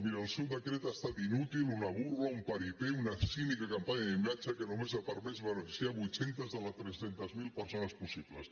miri el seu decret ha estat inútil una burla un paripénica campanya d’imatge que només ha permès beneficiar vuit cents de les tres cents miler persones possibles